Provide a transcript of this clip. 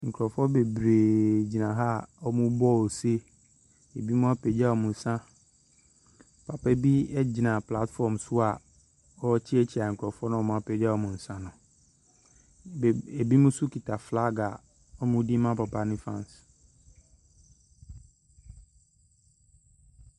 Nkorɔfoɔ bebree gyina ha, a ɔmo bɔ ose. Ebimo apagya ɔmo nsa. Papa bi egyina platfɔm so a, ɔkyeakyea nkorɔfoɔ na ɔmo apagya ɔmo nsa no. Ebimo nso kita flaage a, ɔmo de ma papa no faans.